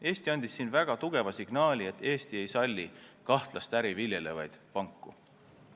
Eesti andis siin väga tugeva signaali, et Eesti ei salli kahtlast äri viljelevaid panku.